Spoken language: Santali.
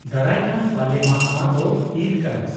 -ᱫᱟᱨᱟᱭᱠᱟᱱ ᱵᱟᱞᱮᱢᱟᱦᱟ ᱢᱟᱛᱚ ᱤᱫᱽ ᱠᱟᱱᱟ ᱾